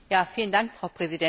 Frau Präsidentin!